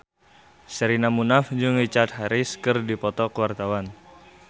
Sherina Munaf jeung Richard Harris keur dipoto ku wartawan